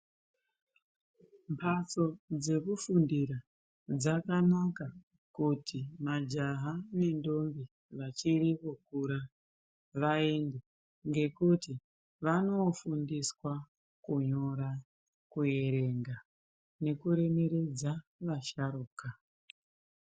Mbatso dzekufundira dzakanaka kuti majaha nendombi dzichiri kukura vaende ngekuti vanofundiswa kunyora kuerenga nekuremeredza asharuka.